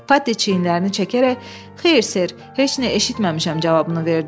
Paddi çiynlərini çəkərək, “Xeyr, ser, heç nə eşitməmişəm” cavabını verdi.